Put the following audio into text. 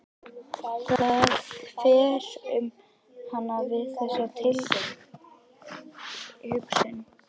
Það fer um hana við þessa tilhugsun.